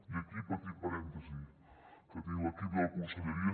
i aquí petit parèntesi que tinc l’equip de la conselleria